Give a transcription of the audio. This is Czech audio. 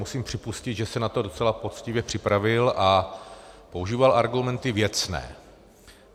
Musím připustit, že se na to docela poctivě připravil a používal argumenty věcné.